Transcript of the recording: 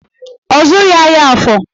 Ọ zụghị ahịa Afọ